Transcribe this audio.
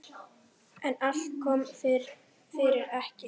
En allt kom fyrir ekki!